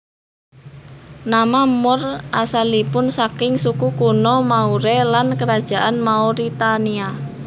Nama Moor asalipun saking suku kuno Maure lan Kerajaan Mauritania